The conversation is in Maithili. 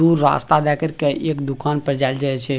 उ रास्ता जाय करके एक दुकान पे जायल जाये छे।